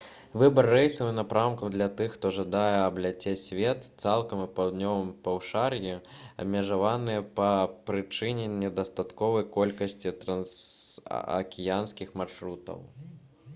выбар рэйсаў і напрамкаў для тых хто жадае абляцець свет цалкам у паўднёвым паўшар'і абмежаваны па прычыне недастатковай колькасці трансакіянскіх маршрутаў